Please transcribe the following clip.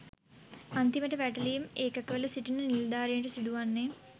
අන්තිමට වැටලීම් ඒකකවල සිටින නිලධාරින්ට සිදුවන්නේ